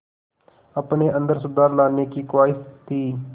अपने अंदर सुधार लाने की ख़्वाहिश थी